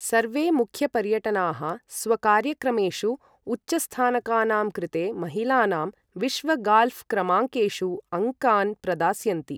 सर्वे मुख्यपर्यटनाः स्वकार्यक्रमेषु उच्चस्थानकानां कृते महिलानां विश्व गाल्ऴ् क्रमाङ्केषु अङ्कान् प्रदास्यन्ति।